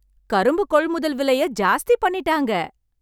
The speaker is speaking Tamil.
கரும்பு கொள்முதல் விலையை ஜாஸ்தி பண்ணீட்டாங்க!